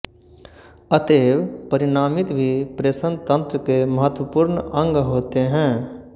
अतएव परिणामित भी प्रेषणतंत्र के महत्वपूर्ण अंग होते हैं